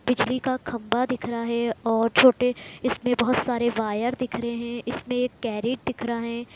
बिजली का खंभा दिख रहा है और छोटे इसमें बहुत सारे वायर दिख रहे है इसमें एक कैरेट दिख रहे है।